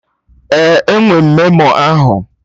Ee, enwe m memo ahụ